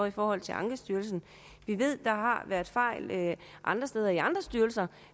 i forhold til ankestyrelsen vi ved der har været fejl andre steder i andre styrelser